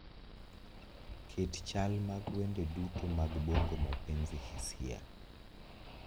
Ket chal mag wende duto mag bongo mapenzi hisia